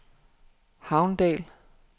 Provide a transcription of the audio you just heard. Havndal